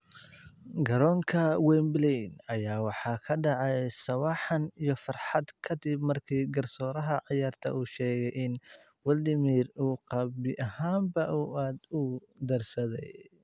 Garoonka Wembley ayaa waxaa ka dhacay sawaxan iyo farxad kadib markii garsooraha ciyaarta uu sheegay in Wladimir uu gabi ahaanba uu aaad uu darsaday.